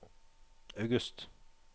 august